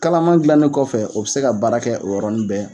Kalaman dilannen kɔfɛ u bɛ se ka baara kɛ o yɔrɔnin bɛɛ